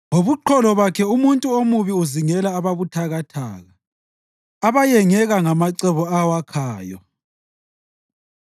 Ngobuqholo bakhe umuntu omubi uzingela ababuthakathaka, abayengeka ngamacebo awakhayo.